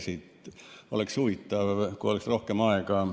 See oleks huvitav, kui oleks rohkem aega.